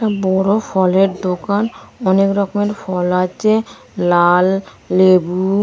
একটা বড়ো ফলের দোকান অনেক রকমের ফল আছে লাল লেবু।